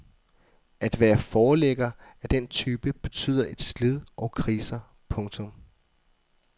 At være forlægger af den type betyder et slid og kriser. punktum